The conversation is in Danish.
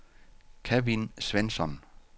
Kevin Svensson